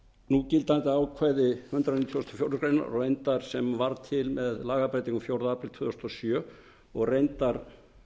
núgildandi ákvæði hundrað nítugasta og fjórðu grein reyndar sem varð til að lagabreytingu fjórða apríl tvö þúsund og sjö og reyndar